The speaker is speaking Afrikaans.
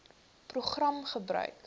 program gebruik